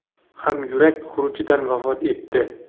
ham yurak xurujidan vafot etdi.